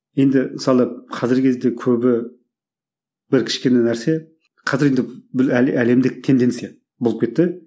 енді мысалы қазіргі кезде көбі бір кішкене нәрсе қазір енді әлемдік тенденция болып кетті